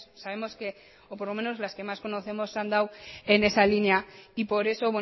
sabemos que o por lo menos las que más conocemos se han dado en esa línea y por eso